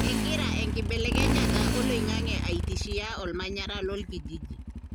kengira enkibelekenyata oloingange aitishia ollmanyara lolkijiji.